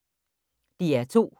DR2